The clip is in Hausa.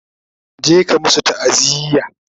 je ka masu ta'aziya!